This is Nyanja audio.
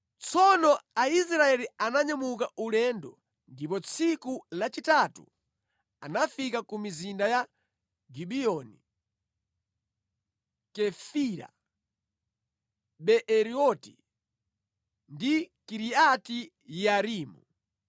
Tsono Aisraeli ananyamuka ulendo ndipo tsiku lachitatu anafika ku mizinda ya Gibiyoni, Kefira, Beeroti ndi Kiriati-Yearimu.